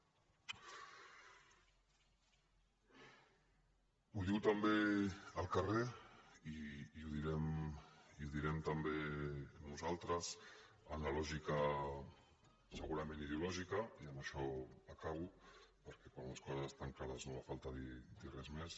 ho diu també el carrer i ho direm també nosaltres en la lògica segurament ideològica i amb això acabo perquè quan les coses estan clares no fa falta dir res més